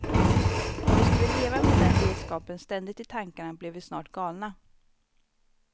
Om vi skulle leva med den vetskapen ständigt i tankarna blev vi snart galna.